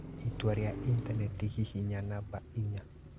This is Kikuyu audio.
itua rĩa intanenti hihinya namba inya